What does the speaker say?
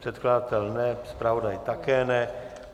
Předkladatel ne, zpravodaj také ne.